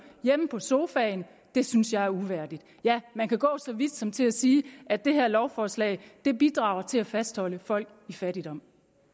hjemme på sofaen og det synes jeg er uværdigt ja man kan gå så vidt som til at sige at det her lovforslag bidrager til at fastholde folk i fattigdom